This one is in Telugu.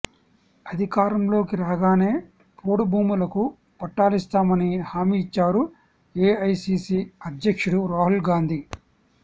అధికారంలోకి రాగానే పోడు భూములకు పట్టాలిస్తామని హామీ ఇచ్చారు ఏఐసీసీ అధ్యక్షుడు రాహుల్గాంధీ